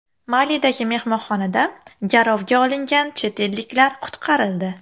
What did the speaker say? Malidagi mehmonxonada garovga olingan chet elliklar qutqarildi.